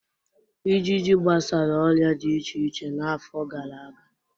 Ịjịjị gbasara ọrịa dị iche iche n'afọ gara aga.